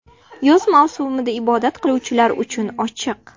Yoz mavsumida ibodat qiluvchilar uchun ochiq.